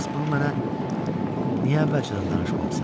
Bəs bunu mənə niyə əvvəlcədən danışmamısan?